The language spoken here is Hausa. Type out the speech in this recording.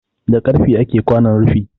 Da karfe ake kwanon rufi